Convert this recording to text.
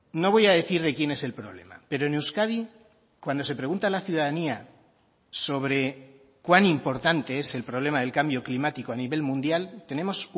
no voy a decir de quién es el problema pero en euskadi cuando se pregunta a la ciudadanía sobre cuán importante es el problema del cambio climático a nivel mundial tenemos